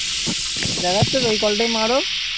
দেখা যাচ্ছে তো? ওই কলটাই মারো?